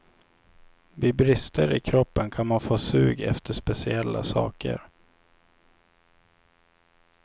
Vid brister i kroppen kan man få sug efter speciella saker.